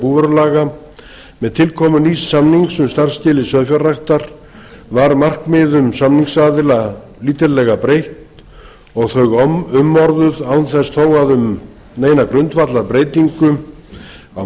grein búvörulaga með tilkomu nýs samnings um starfsskilyrði sauðfjárræktar var markmiðum samningsaðila lítillega breytt og þau umorðuð án þess þó að um neina grundvallarbreytingu á